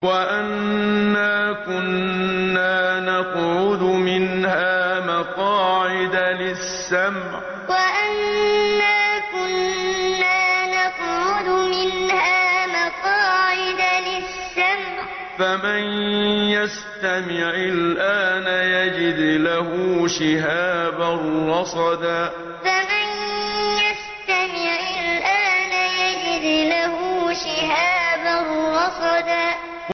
وَأَنَّا كُنَّا نَقْعُدُ مِنْهَا مَقَاعِدَ لِلسَّمْعِ ۖ فَمَن يَسْتَمِعِ الْآنَ يَجِدْ لَهُ شِهَابًا رَّصَدًا وَأَنَّا كُنَّا نَقْعُدُ مِنْهَا مَقَاعِدَ لِلسَّمْعِ ۖ فَمَن يَسْتَمِعِ الْآنَ يَجِدْ لَهُ شِهَابًا رَّصَدًا